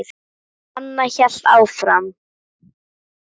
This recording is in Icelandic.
Anna hélt áfram.